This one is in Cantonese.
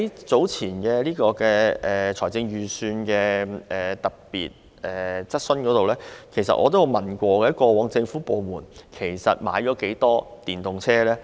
早前政府在財務委員會特別會議上就預算案接受議員質詢時，我曾提問，過往政府部門實際購買了多少輛電動車？